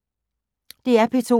DR P2